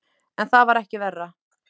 En það var ekki verra.